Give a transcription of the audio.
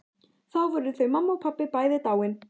Þá voru þau mamma og pabbi bæði dáin.